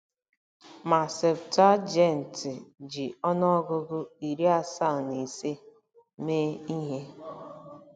Ma Septụaginti ji ọnụọgụgụ iri asaa na ise mee ihe.